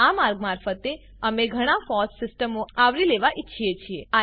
આ માર્ગ મારફતે અમે ઘણા ફોસ સીસ્ટમો આવરી લેવા ઈચ્છીએ છીએ